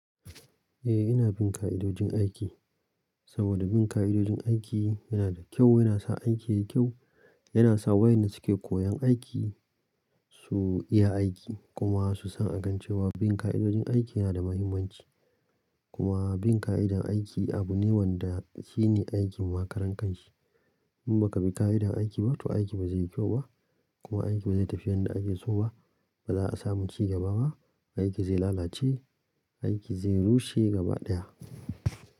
Eh ina bin ka'idojin aiki, saboda bin ka'idojin aiki yana da kyau, yana sa aiki yayi kyau, yana sa waƴanda suke koyan aiki su iya aiki kuma su san a kan cewa bin ka'idojin aiki yana da muhimmanci. Kuma bin ka'idar aiki abu ne wanda shine aikin makarankanshi. In baka bi ka'idar aiki ba to aiki ba zai yi kyau ba, kuma aiki ba zai tafi yanda ake so ba, ba za a samu ci gaba ba, aiki zai lalace, aiki zai rushe gaba ɗaya.